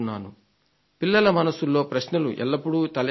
పిల్లల మనసుల్లో ప్రశ్నలు ఎల్లప్పుడూ తలెత్తాలి